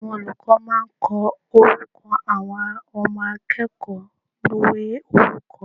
Àwọn olùkó máa ko orúkọ àwọn Ọmọ akéèkòó ìwé orúkọ